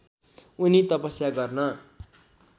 उनी तपस्या गर्न